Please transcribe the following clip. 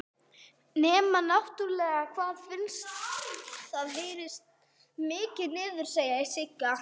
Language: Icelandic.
Nema náttúrlega hvað það heyrist mikið niður, segir Sigga.